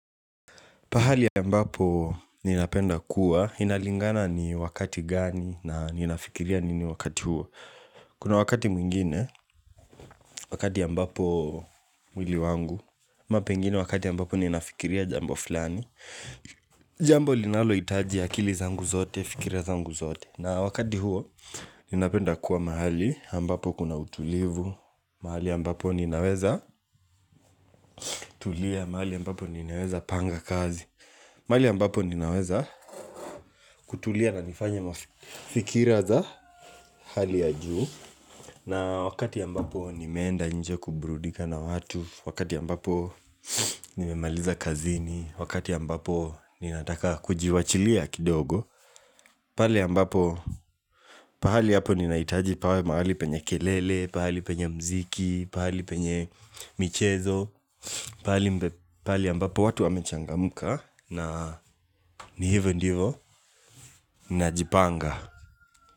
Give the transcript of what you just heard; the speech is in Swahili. Pahali ambapo ninapenda kuwa, inalingana ni wakati gani na ninafikiria nini wakati huo Kuna wakati mwingine, wakati ambapo mwili wangu amapengine wakati ya mbapo ninafikiria jambo fulani Jambo linalo hitaji ya akili zangu zote, fikiria zangu zote na wakati huo, ninapenda kuwa mahali, ambapo kuna utulivu mahali ambapo ninaweza tulia, mahali ambapo ninaweza panga kazi mahali ambapo ninaweza kutulia na nifanya mafikiraza hali ya juu na wakati ambapo nimeenda nje kuburudika na watu Wakati ambapo nimemaliza kazini Wakati ambapo ninataka kujiwachilia kidogo Pali ambapo pahali yapo ninaitaji pahali penye kelele Pahali penye mziki, pahali penye michezo Pahali ambapo watu wamechangamka na ni hivo ndivo Najipanga.